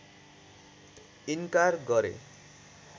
इन्कार गरे